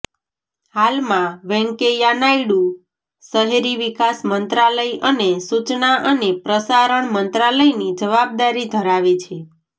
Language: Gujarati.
હાલમાં વેંકૈયા નાયડુ શહેરી વિકાસ મંત્રાલય અને સુચના અને પ્રસારણ મંત્રાલયની જવાબદારી ધરાવે છે